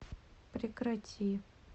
прекрати